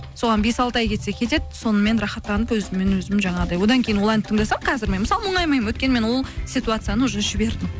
соған бес алты ай кетсе кетеді сонымен рахаттанып өзіммен өзім жаңағыдай одан кейін ол әнді тыңдасам қазір мен мысалы мұңаймаймын өйткені мен ол ситуацияны уже жібердім